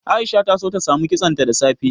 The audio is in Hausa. Aisha ta so ta samu kitsonta da safe.